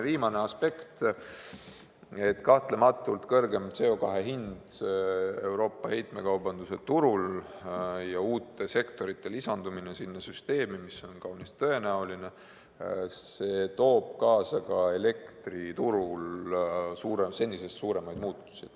Viimane aspekt: kõrgem CO2 hind Euroopa heitmekaubanduse turul ja sellesse süsteemi uute sektorite lisandumine, mis on kaunis tõenäoline, toob kahtlematult kaasa ka elektriturul senisest suuremaid muutusi.